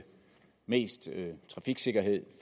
mest trafiksikkerhed